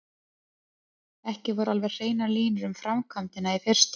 Ekki voru alveg hreinar línur um framkvæmdina í fyrstu.